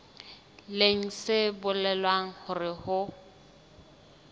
leng se bolelang hore ho